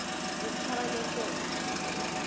zetabanekele